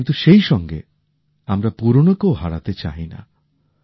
কিন্তু সেইসঙ্গে আমরা পুরনোকেও হারাতে চাইনা